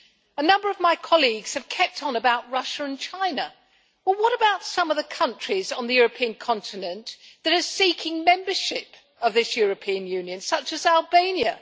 A number of my colleagues have kept on about Russia and China but what about some of the countries on the European continent that are seeking membership of this European Union, such as Albania?